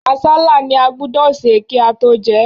Àsálà ni a gbúdọ̀ sè kí á tó jẹ.